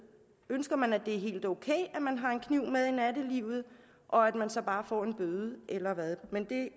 ønsker man at det er helt ok at man har en kniv med i nattelivet og at man så bare får en bøde eller hvad men det